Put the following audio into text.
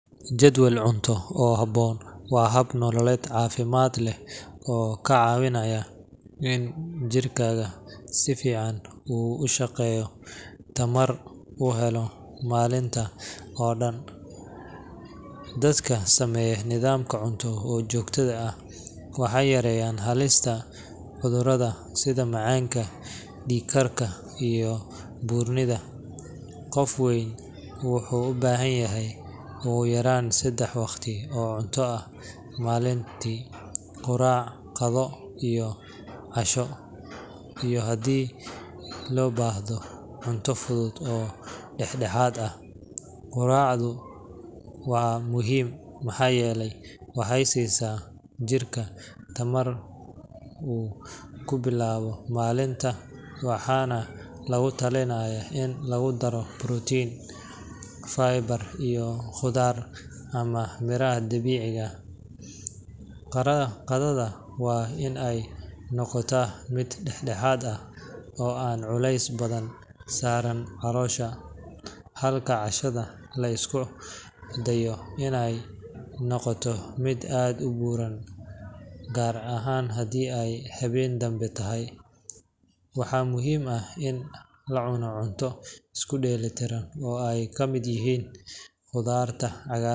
Jadwal cunto oo habboon waa hab nololeed caafimaad leh oo kaa caawinaya in jirkaaga si fiican u shaqeeyo, tamarna u helo maalinta oo dhan. Dadka sameeya nidaam cunto oo joogto ah waxay yareeyaan halista cudurrada sida macaanka, dhiig-karka, iyo buurnida. Qofka weyn wuxuu u baahan yahay ugu yaraan saddex waqti oo cunto ah maalintii quraac, qadada, iyo casho iyo haddii loo baahdo cunto fudud oo dhexdhexaad ah. Quraacdu waa muhiim maxaa yeelay waxay siisaa jirka tamar uu ku bilaabo maalinta, waxaana lagu talinayaa in lagu daro protein, fiber, iyo khudaar ama miraha dabiiciga ah. Qadada waa in ay noqotaa mid dhexdhexaad ah oo aan culays badan saarin caloosha, halka cashada la isku dayo in aanay noqon mid aad u buuran, gaar ahaan haddii ay habeen dambe tahay. Waxaa muhiim ah in la cuno cunto isku dheelitiran oo ay ka mid yihiin khudaarta.